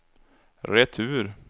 retur